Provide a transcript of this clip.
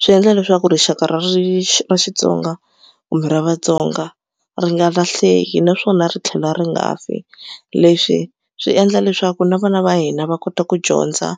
Swi endla leswaku rixaka ra ri ra Xitsonga kumbe ra Vatsonga ri nga lahleki naswona ri tlhela ri nga fi. Leswi swi endla leswaku na vana va hina va kota ku dyondza